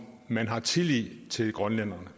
man har tillid til grønlænderne